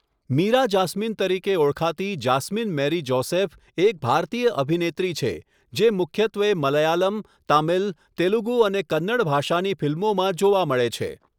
Meera Jasmine તરીકે ઓળખાતી Jasmine Mary Joseph એક ભારતીય અભિનેત્રી છે, જે મુખ્યત્વે મલયાલમ, તામિલ, તેલુગુ અને કન્નડ ભાષાની ફિલ્મોમાં જોવા મળે છે.